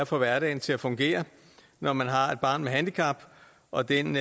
få hverdagen til at fungere når man har et barn med handicap og den